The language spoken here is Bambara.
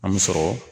An mi sɔrɔ